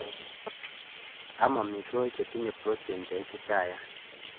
Am amitwokik chetinye proteins cheititayat